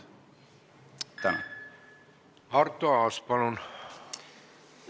Arto Aas, palun!